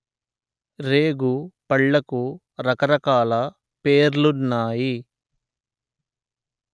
రేగు పళ్లకు రకరకాల పేర్లున్నాయి